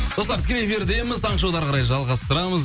достар тікелей эфирдеміз таңғы шоуды әрі қарай жалғастырамыз